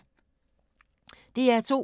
DR2